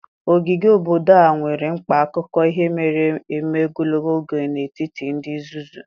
Ogige obodo a nwere mkpa akụkọ ihe mere eme ogologo oge n'etiti ndị Zuzu.